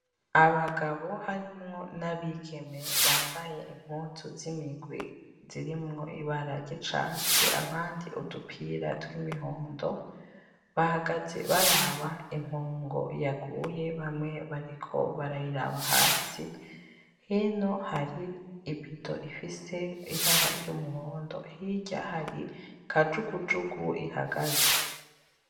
Abagabo harimwo n'abigeme bambaye impuzu z'imigwi zirimwo ibara ry'icatsi abandi udupira tw'imihondo, bahagaze baraba inkongo yaguye bamye bariko barayiraba hasi, hino hari ibido ifise ibara ry'umuhondo hirya hari kajugujugu ihagaze.